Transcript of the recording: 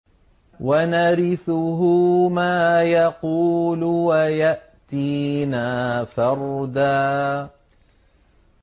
وَنَرِثُهُ مَا يَقُولُ وَيَأْتِينَا فَرْدًا